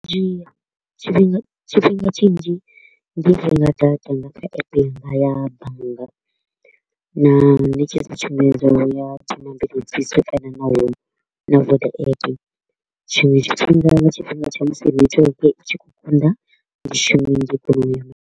Zwi dzhia tshifhinga tshifhinga tshinzhi ndi renga data nga kha app yanga ya bannga na ṋetshedza tshumelo ya kana na Vodapp, tshiṅwe tshifhinga nga tshifhinga tsha musi network i tshi kho u konḓa, ndi .